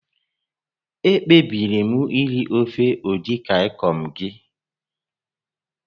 Ekpebiri m iri ofe Edikaikong gị